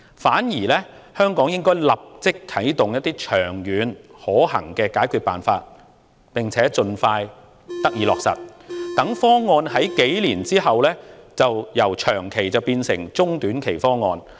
反之，香港應該立即啟動長遠可行的解決辦法，並且盡快落實，讓方案在數年後由長期變為中短期方案。